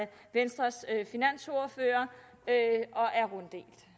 venstres finansordfører